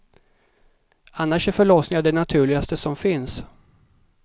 Annars är förlossningar det naturligaste som finns.